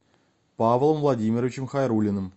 павлом владимировичем хайруллиным